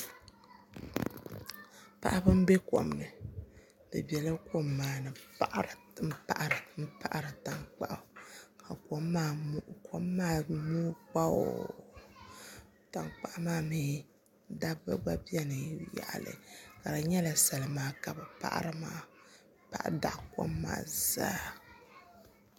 Paɣaba n bɛ kom ni bi biɛla kom maa ni n paɣari tankpaɣu ka kom maa mooi kpaaw tankpaɣu maa mii dabba gba biɛni yaɣali ka di nyɛla salima ka bi paɣari maa bi paɣa daɣi kom maa zaa